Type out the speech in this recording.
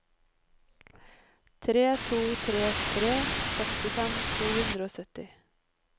tre to tre tre sekstifem to hundre og sytti